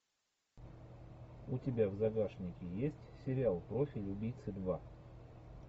у тебя в загашнике есть сериал профиль убийцы два